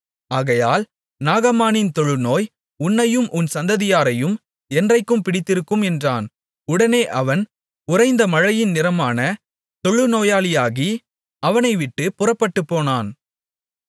ஆகையால் நாகமானின் தொழுநோய் உன்னையும் உன் சந்ததியாரையும் என்றைக்கும் பிடித்திருக்கும் என்றான் உடனே அவன் உறைந்த மழையின் நிறமான தொழுநோயாளியாகி அவனைவிட்டுப் புறப்பட்டுப்போனான்